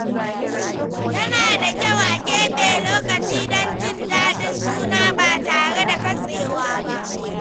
Yana da kyau a keɓe lokaci don jin daɗin juna ba tare da katsewa ba.